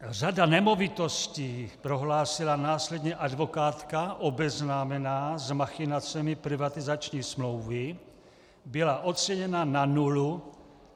Řada nemovitostí, prohlásila následně advokátka obeznámená s machinacemi privatizační smlouvy, byla oceněna na nulu.